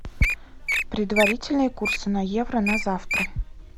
предварительные курсы на евро на завтра